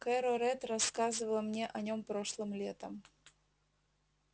кэро рэтт рассказывала мне о нём прошлым летом